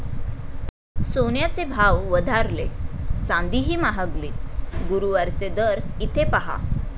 सोन्याचे भाव वधारले, चांदीही महागली. गुरुवारचे दर इथे पाहा